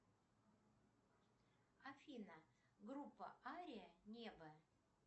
афина группа ария небо